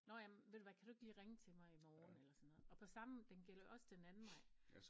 Nåh ja men ved du hvad kan du ikke lige ringe til mig i morgen eller sådan noget og på samme den gælder jo også den anden vej